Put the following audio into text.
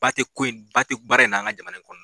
Ba te ko in ba te baara in na an ga jamana kɔnɔ